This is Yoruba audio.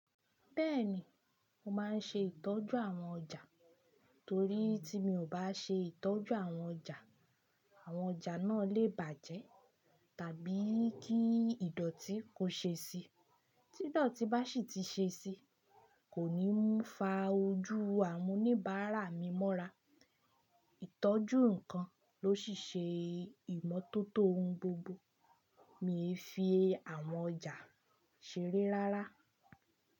Bẹ́ẹ̀ni, mo máa ń ṣe ìtọ́jú àwọn ọjà torí tí mi ò bá ṣe ìtọ́jú àwọn ọjà, àwọn ọjà náà lè bàjẹ́ tàbí kí ìdọ̀tí kó ṣe sí i. Tí ìdọ̀tí bá sì ti ṣe sí i, kò ní mú fa ojú àwọn oníbàárà mi mọ́ra. Ìtọ́jú nǹkan ló sì ṣe ìmọ́tótó ohun gbogbo mi fi àwọn ọjà ṣeré rárá.